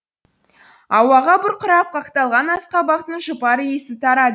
ауаға бұрқырап қақталған асқабақтың жұпар иісі тарады